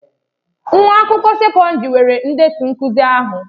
Nwa akwụkwọ sekọndrị nwere ndetu nkuzi ha.